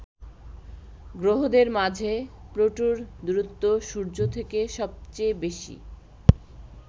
গ্রহদের মাঝে প্লুটোর দূরত্ব সূর্য থেকে সবচেয়ে বেশি।